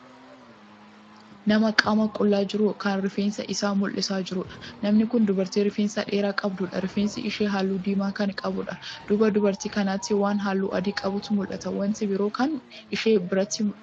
Nama qaama qullaa jiru Kan rifeensa Isaa mul'isee jiruudha. namni Kuni dubartii rifeensa dheeraa qabduudha. rifeensi ishee halluu diimaa Kan qabuudha. duuba dubartii kanaatti waan halluu adii qabuutu mul'ata. wanti biroo Kan ishee biratti argamu hin jiru.